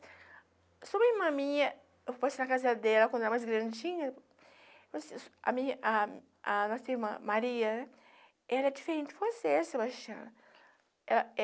Sobre a irmã minha, eu passei na casa dela quando ela era mais grandinha, a a minha a nossa irmã Maria, ela é diferente de você, Sebastião. Ela é